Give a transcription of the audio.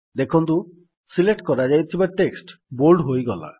ଦେଖନ୍ତୁ ସିଲେକ୍ଟ କରାଯାଇଥିବା text bold ହୋଇଗଲା